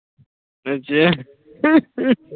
ਅੱਛਾ .